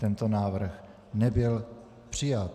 Tento návrh nebyl přijat.